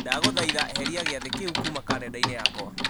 ndagũthaitha eheria gĩathĩ kĩu kuma karenda-inĩ yakwa